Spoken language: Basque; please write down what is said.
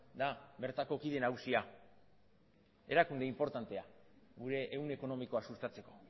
da bertako kide nagusia erakunde inportantea gure ehun ekonomikoa sustatzeko